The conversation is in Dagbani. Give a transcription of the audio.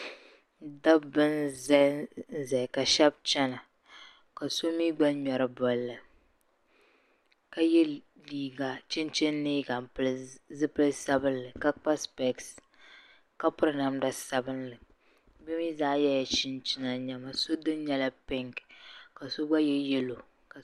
dabba n-zanzaya ka shɛba chana ka so mi gba ŋmɛri bɔlli ka ye chinchini liiga m-pili zipil' sabilinli ka kpa sipɛsi ka piri namda sabilinli bɛ zaa yɛla chinchina nɛma so dini nyɛla piŋki ka so gba ye yɛlo